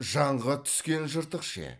жанға түскен жыртық ше